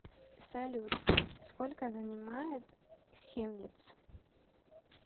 салют сколько занимает хемниц